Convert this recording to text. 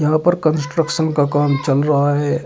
यहां पर कंस्ट्रक्शन का काम चल रहा है।